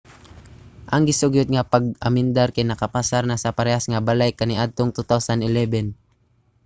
ang gisugyot nga pag-amendar kay nakapasar na sa parehas nga balay kaniadtong 2011